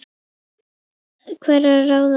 hverra ráða.